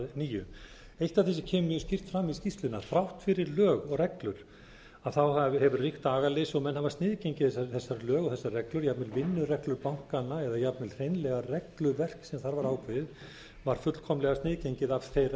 nýju eitt af því sem kemur mjög skýrt fram í skýrslunni er að þrátt fyrir lög og reglur hefur ríkt agaleysi og menn hafa sniðgengið þessi lög og þessar reglur jafnvel vinnureglur bankanna eða jafnvel hreinlega regluverk sem þar var ákveðið var fullkomlega sniðgengið af þeirra eigendum eða þeirra